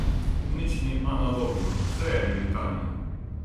Nič ni analogno, vse je digitalno.